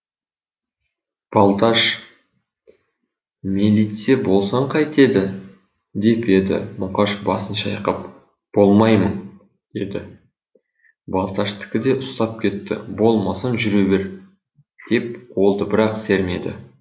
балташ мелитсе болсаң қайтеді деп еді мұқаш басын шайқап болмаймын деді балташтікі де ұстап кетті болмасаң жүре бер деп қолды бір ақ сермеді